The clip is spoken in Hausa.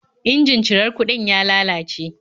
Injin cirar kuɗin ya lalace